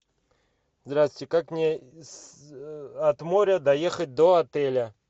здравствуйте как мне от моря доехать до отеля